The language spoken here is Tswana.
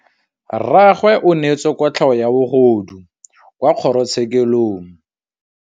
Rragwe o neetswe kotlhaô ya bogodu kwa kgoro tshêkêlông.